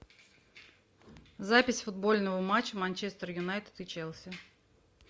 запись футбольного матча манчестер юнайтед и челси